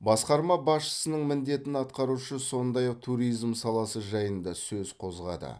басқармасы басшысының міндетін атқарушы сондай ақ туризм саласы жайында сөз қозғады